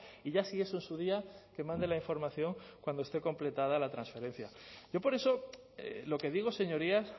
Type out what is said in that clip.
y ya si eso en su día que mande la información cuando esté completada la transferencia yo por eso lo que digo señorías